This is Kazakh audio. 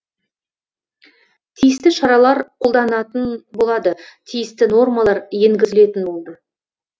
тиісті шаралар қолданатын болады тиісті нормалар енгізілетін болды